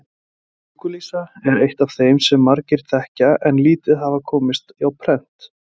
Orðið dúkkulísa er eitt af þeim sem margir þekkja en lítið hafa komist á prent.